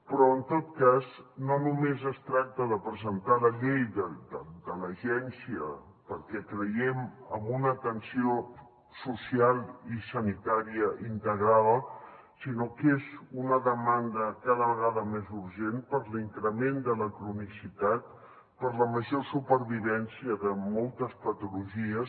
però en tot cas no només es tracta de presentar la llei de l’agència perquè creiem en una atenció social i sanitària integrada sinó que és una demanda cada vegada més urgent per l’increment de la cronicitat per la major supervivència de moltes patologies